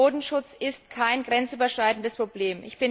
Bodenschutz ist kein grenzüberschreitendes Problem.